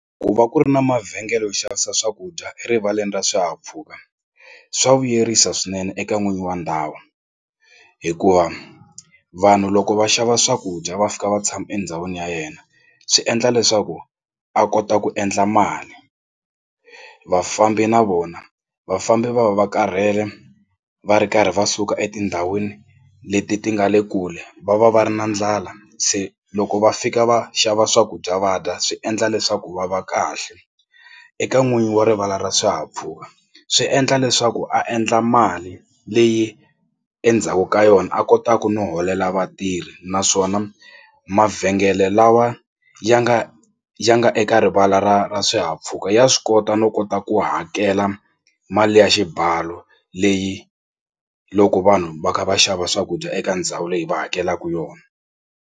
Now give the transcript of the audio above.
Ku va ku ri na mavhengele yo xavisa swakudya erivaleni ra swihahampfhuka swa vuyerisa swinene eka n'winyi wa ndhawu hikuva vanhu loko va xava swakudya va fika va tshama endhawini ya yena swi endla leswaku a kota ku endla mali. Vafambi na vona vafambi va va va karhele va ri karhi va suka etindhawini leti ti nga le kule va va va ri na ndlala se loko va fika va xava swakudya va dya swi endla leswaku va va kahle. Eka n'winyi wa rivala ra swihahampfhuka swi endla leswaku a endla mali leyi endzhaku ka yona a kotaku no holela vatirhi naswona mavhengele lawa ya nga ya nga eka rivala ra ra swihahampfhuka ya swi kota no kota ku hakela mali ya xibalo leyi loko vanhu va kha va xava swakudya eka ndhawu leyi va hakelaka yona.